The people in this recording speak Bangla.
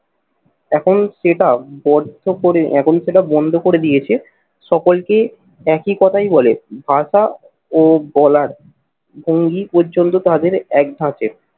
এখন সেটা বদ্ধ করে এখন সেটা বন্ধ করে দিয়েছে সকলকে একই কথায় বলে ভাষা ও বলার ভঙ্গি পর্যন্ত তাদের এক থাকে।